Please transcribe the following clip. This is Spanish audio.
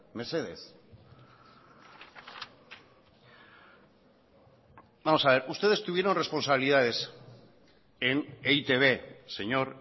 mesedez vamos a ver ustedes tuvieron responsabilidades en e i te be señor